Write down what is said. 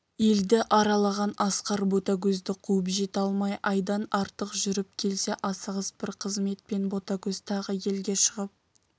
елді аралаған асқар ботагөзді қуып жете алмай айдан артық жүріп келсе асығыс бір қызметпен ботагөз тағы елге шығып